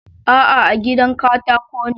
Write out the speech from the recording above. A'a, gidan katako ne